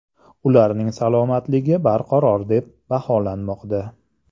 Ularning salomatligi barqaror deb baholanmoqda.